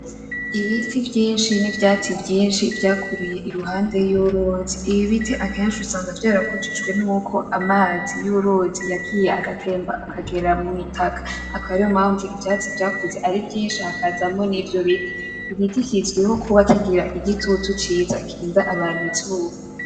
Ibiti vyinshi n’ivyatsi vyinshi vyakuriye iruhande y’uruzi. Ibiti akenshi usanga vyarakujijwe n’uko amazi y’uruzi yagiye agatemba akagera mu itaka, akaba ariyo mpamvu ivyatsi vyakuze ari vyinshi hakazamwo n’ivyo biti. Igiti kizwiho kuba kigira igitutu ciza kirinda abantu izuba.